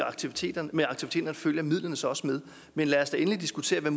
aktiviteterne følger midlerne så også med men lad os da endelig diskutere